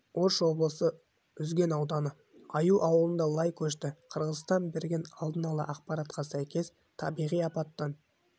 ош облысы үзген ауданы аюу ауылында лай көшті қырғызстан берген алдын ала ақпаратқа сәйкес табиғи апаттан